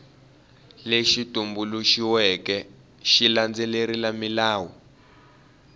lexi tumbuluxiweke xi landzelerile milawu